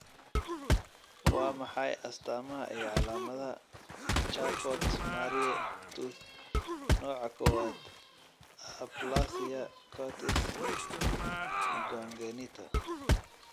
Waa maxay astamaha iyo calaamadaha Charcot Marie Tooth nooca kowaad aplasia cutis congenita?